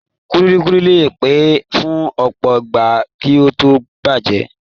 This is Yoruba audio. Kulikuli le pẹ́ fún ọpọ ìgbà kí o to bajẹ.